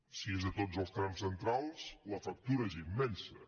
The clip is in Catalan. si és a tots els trams centrals la factura és immensa